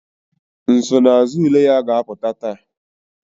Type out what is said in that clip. Nsonaazụ ule ya ga-apụta taa